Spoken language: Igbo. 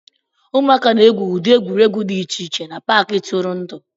Ụmụaka na-egwu ụdị egwuregwu dị iche iche na Paakị ntụrụndụ